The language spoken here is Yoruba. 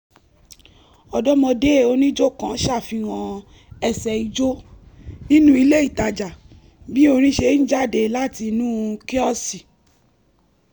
ọ̀dọ́mọdé onijó kan ṣàfihàn ẹsẹ̀ ijó nínú ilé itaja bí orin ṣe ń jáde láti inú kíọ̀sì